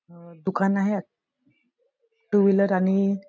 दुकान आहे आ टू व्हिलर आणि--